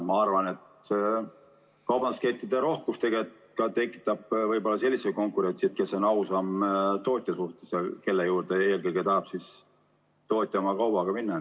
Ma arvan, et ka kaubanduskettide rohkus tekitab sellise konkurentsi, et kes on tootja suhtes ausam, selle juurde eelkõige tahab tootja oma kaubaga minna.